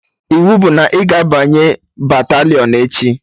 Iwu bụ na ị ga-abanye batalịọn echi!